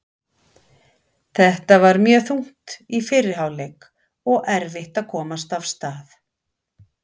Þetta var mjög þungt í fyrri hálfleik og erfitt að komast af stað.